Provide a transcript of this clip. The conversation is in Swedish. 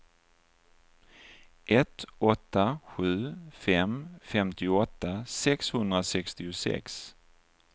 ett åtta sju fem femtioåtta sexhundrasextiosex